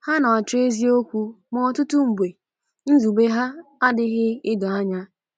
Ha na-achọ eziokwu, ma ọtụtụ mgbe nzube ha adịghị edo anya.